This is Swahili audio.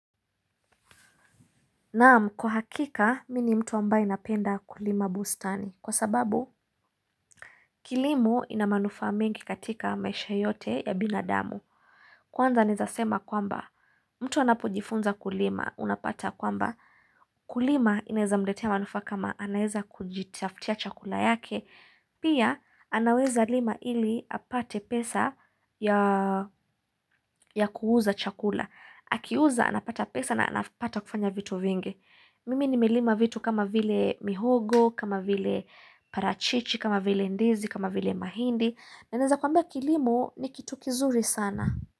Naam, kwa hakika, mi ni mtu ambaye napenda kulima bustani. Kwa sababu, kilimo ina manufaa mengi katika maisha yote ya binadamu. Kwanza neza sema kwamba, mtu anapujifunza kulima, unapata kwamba. Kulima inaeza mletea manufaa kama anaeza kujitaftia chakula yake. Pia, anaweza lima ili apate pesa ya kuuza chakula. Akiuza, anapata pesa na anapata kufanya vitu vinge. Mimi nimelima vitu kama vile mihogo, kama vile parachichi, kama vile ndizi, kama vile mahindi na neza kwambia kilimo ni kitu kizuri sana.